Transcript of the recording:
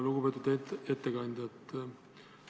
Lugupeetud ettekandja!